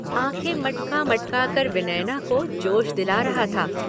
आंखें मटका-मटका कर विनयना को जोश दिला रहा था।